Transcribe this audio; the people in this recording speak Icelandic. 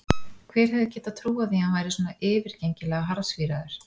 Hver hefði getað trúað því að hann væri svona yfirgengilega harðsvíraður!